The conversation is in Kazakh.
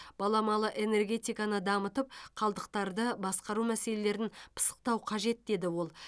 баламалы энергетиканы дамытып қалдықтарды басқару мәселелерін пысықтау қажет деді ол